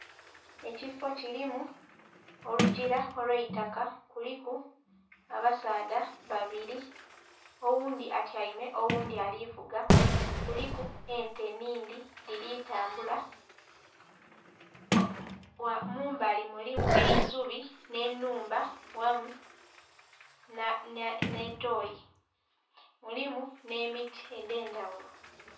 Ekifoo kirimu olugira olwaitaka kuliku abasaadha babiri oghundhi atyaime oghundhi alivuga kuliku n'ente nhingi dhiri tambula, mumbali mulimu eisubi n'enhumba ghamu n'etoyi mulimu n'emiti egyendhaghulo.